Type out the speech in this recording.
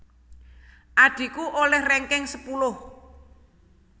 Adhiku oleh ranking sepuluh